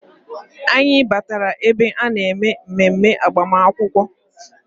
Anyị batara ebe a na-eme mmemme agbamakwụkwọ